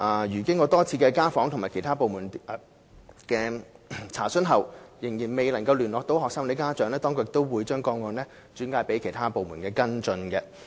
如果經過多次家訪及向其他部門查詢後，仍未能聯絡學生或家長，當局亦會把個案轉介其他部門跟進。